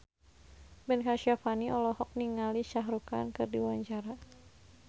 Ben Kasyafani olohok ningali Shah Rukh Khan keur diwawancara